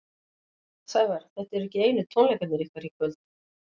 Sævar, þetta eru ekki einu tónleikarnir ykkar í kvöld?